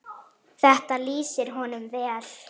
Þetta lýsir honum vel.